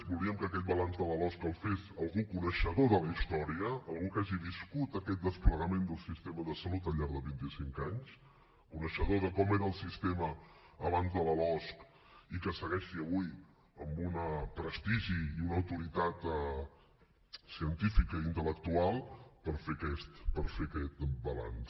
volíem que aquest balanç de la losc el fes algú coneixedor de la història algú que hagi viscut aquest desplegament del sistema de salut al llarg de vint i cinc anys coneixedor de com era el sistema abans de la losc i que segueixi avui amb un prestigi i una autoritat científica i intel·lectual per fer aquest balanç